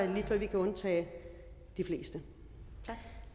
vi kan undtage de fleste